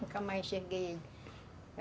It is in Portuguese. Nunca mais enxerguei ele.